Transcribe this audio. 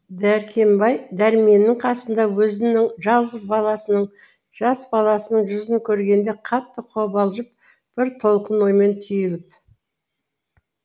дәркембай дәрменнің қасында өзінің жалғыз баласының жас баласының жүзін көргенде қатты қобалжып бір толқын оймен түйіліп